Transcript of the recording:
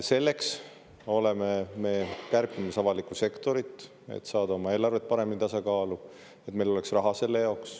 Selleks oleme me kärpimas avalikku sektorit, et saada oma eelarve paremini tasakaalu, et meil oleks raha selle jaoks.